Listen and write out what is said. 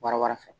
Bara wɛrɛ fɛ